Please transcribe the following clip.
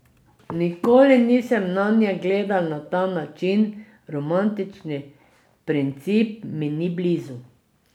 Nikoli nisem nanje gledal na ta način, romantični princip mi ni blizu.